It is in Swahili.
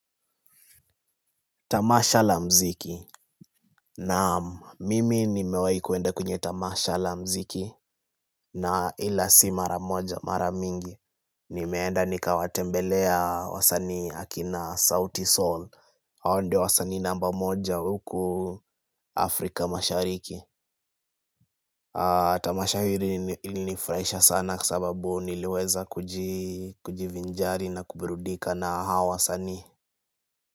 Tamasha la mziki naamu, mimi nimewai kuenda kwenye tamasha la mziki. Na ila si mara moja mara mingi. Nimeenda nikawatembelea wasanii akina Sauti Soul. Hao ndo wasanii namba moja huku Afrika mashariki. Tamasha ilnifraisha sana kwa sababu niliweza kujivinjari na kubrudika na hawa weasanii.